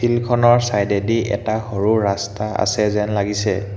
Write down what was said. ফিল্ডখনৰ চাইডেদি এটা সৰু ৰাস্তা আছে যেন লাগিছে।